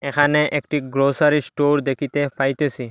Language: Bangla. এখানে একটি গ্রোসারী স্টোর দেকিতে পাইতেসি।